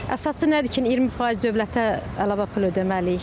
Əsası nədir ki, 20% dövlətə əlavə pul ödəməliyik?